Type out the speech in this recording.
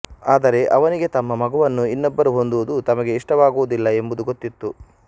ಆದರೆ ಅವನಿಗೆ ತಮ್ಮ ಮಗುವನ್ನು ಇನ್ನೊಬ್ಬರು ಹೊಂದುವುದು ತಮಗೆ ಇಷ್ಟವಾಗುವುದಿಲ್ಲ ಎಂಬುದು ಗೊತ್ತಿತ್ತು